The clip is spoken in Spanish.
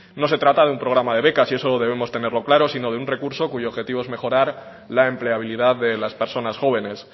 no se trata de un programa de becas y eso debemos tenerlo claro sino de un recurso cuyo objetivo es mejorar la empleabilidad de las personas jóvenes